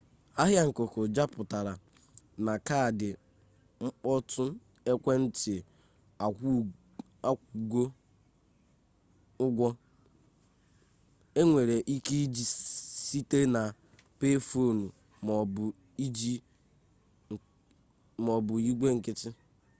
ahịa nkuku juputara na kaadị mkpọtụ ekwentị akwụgo ụgwọ enwere ike iji site na payphone ma ọ bụ igwe nkịtị